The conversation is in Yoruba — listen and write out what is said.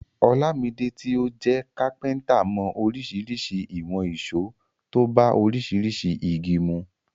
Olamide tí ó jẹ́ kápẹ́ntà mọ oríṣiríṣi ìwọ̀n ìṣó tó bá oríṣiríṣi igi mu.